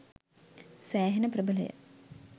සෑහෙන ප්‍රභලය.